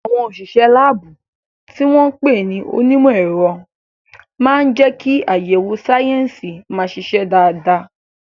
Àwọn òṣìṣẹ́ láàbù, tí wọ́n ń pè ní onímọ̀ ẹ̀rọ, máa ń jẹ́ kí àyẹ̀wò sáyẹ́sì máa ṣiṣẹ́ dáadáa.